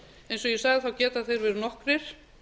eins og ég sagði geta þeir verið nokkrir